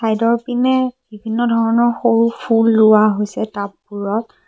Side ৰ পিনে বিভিন্ন ধৰণৰ সৰু ফুল ৰোৱা হৈছে টাব বোৰত।